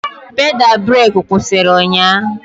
Pedal breeki kwụsịrị ụnyahụ.